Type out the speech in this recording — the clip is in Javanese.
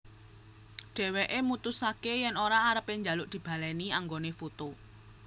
Dheweke mutusake yen ora arepe njaluk dibaleni anggone poto